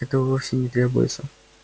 этого вовсе не требуется